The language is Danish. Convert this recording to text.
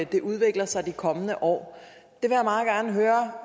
det udvikler sig de kommende år